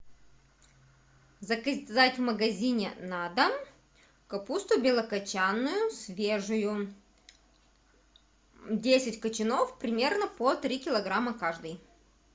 заказать в магазине на дом капусту белокочанную свежую десять качанов примерно по три килограмма каждый